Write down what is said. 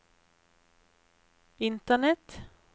internett